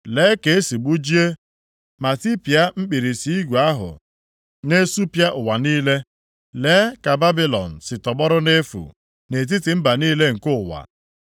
Lee ka e si gbajie, ma tipịa mkpirisi igwe ahụ na-esupịa ụwa niile. Lee ka Babilọn si tọgbọrọ nʼefu nʼetiti mba niile nke ụwa.